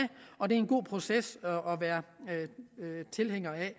og det er en god proces at være tilhænger af